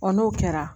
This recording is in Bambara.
n'o kɛra